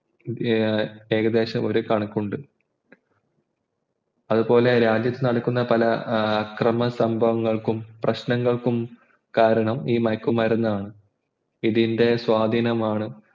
ഏകദേശ ഒരു കണക്കുണ്ട് അതുപോലെ രാജ്യത്ത്നടക്കുന്ന പ ഏർ അക്രമസംഭവങ്ങൾക്കും പ്രശ്നങ്ങൾക്കും കാരണം ഈ മയക്കുമരുന്നാണ് ഇതിൻ്റെ സ്വാധീനമാണ്